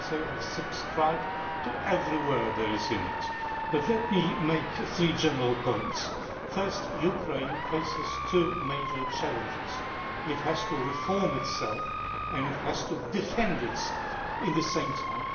I can say I subscribe to every word there is in it. But let me make three general points. First, Ukraine faces two major challenges it has to reform itself, and it has to defend itself at the same time.